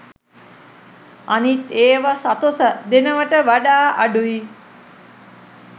අනිත් ඒව සතොසෙ දෙනවට වඩා අඩුයි.